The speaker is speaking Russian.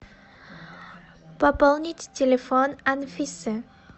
пополнить телефон анфисы